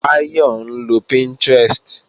Báyọ̀ ń lo Pinterest